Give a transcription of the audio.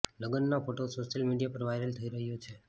લગ્નના photo social media પર viral થઈ રહ્યો છે